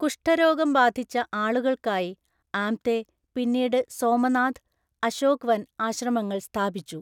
കുഷ്ഠരോഗം ബാധിച്ച ആളുകൾക്കായി ആംതെ പിന്നീട് സോമനാഥ്, അശോക് വന്‍ ആശ്രമങ്ങൾ സ്ഥാപിച്ചു.